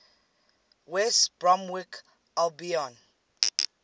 west bromwich albion